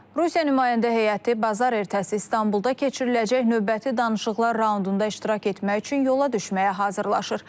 Rusiya nümayəndə heyəti bazar ertəsi İstanbulda keçiriləcək növbəti danışıqlar raundunda iştirak etmək üçün yola düşməyə hazırlaşır.